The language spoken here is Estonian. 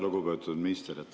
Lugupeetud minister!